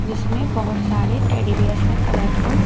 जिसमें बहोत सारे टेडी बियर्स हैं कलरफुल --